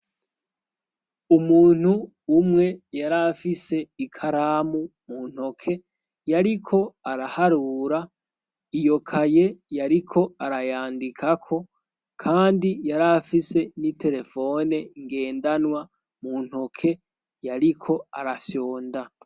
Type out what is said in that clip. umuntu umwe yari afise ikaramu muntoke yariko araharura iyokaye yariko arayandikako kandi yari afise n'iterefone ngendanwa muntoke yariko arafyonda